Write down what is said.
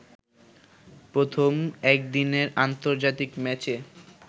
প্রথম একদিনের আন্তর্জাতিক ম্যাচে